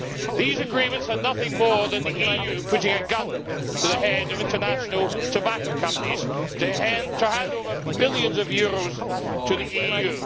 These agreements are nothing more than the EU putting a gun to the head of international tobacco companies to hand over billions of euros to the EU.